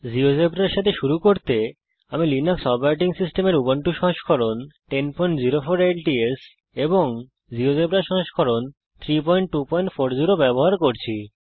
জীয়োজেব্রার সঙ্গে শুরু করতে আমি লিনাক্স অপারেটিং সিস্টেমের উবুন্টু সংস্করণ 1004 ল্টস এবং জীয়োজেব্রা সংস্করণ 32400 ব্যবহার করছি